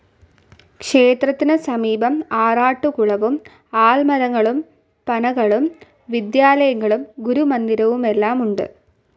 ക്ഷേത്രത്തിനു സമീപം ആറാട്ടുകുളവും ആൽമരങ്ങളും പനകളും വിദ്യാലയങ്ങളും ഗുരുമന്ദിരവുമെല്ലാമുണ്ട്.